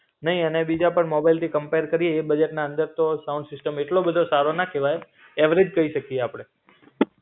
નઈ અને બીજા પણ મોબાઈલથી કંપેર કરીયે એ બજેટના અંદર તો સાઉન્ડ સિસ્ટમ એટલો બધો સારો ન કેવાય, એવરેજ કઈ શકીયે આપડે.